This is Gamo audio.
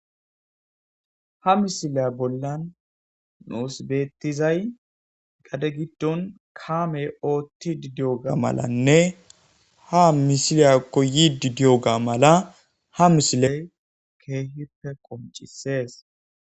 Ha misileya bollan nuosbeettizay gade giddon kaamey ootti didiyoga malanne ha misiliya koyi didiyoga mala ha misiley keehippe qoncisees.